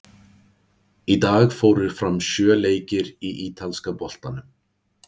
Í dag fóru fram sjö leikir í Ítalska boltanum.